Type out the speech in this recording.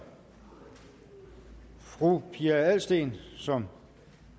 fru pia adelsteen som